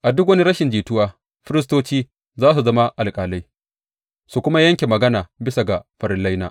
A duk wani rashin jituwa, firistoci za su zama alƙalai su kuma yanke magana bisa ga farillaina.